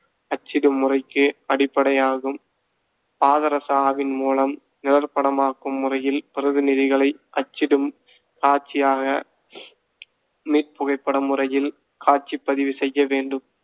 அச்சிடும் முறைக்கு அடிப்படையாகும். பாதரச ஆவிமூலம் நிழற்படமாக்கும் முறையில் பிரதிநிதிகளை அச்சிடு காட்சியாக மீள்புகைப்பட முறையில் காட்சிப் பதிவு செய்ய வேண்டும்